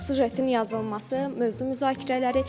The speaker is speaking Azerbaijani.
Süjetin yazılması, mövzu müzakirələri.